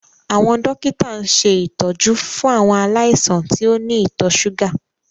Àwọn dókítà ń ṣe ìtọ́jú fún àwọn aláìsàn tí ó ní ìtọ̀ ṣúgà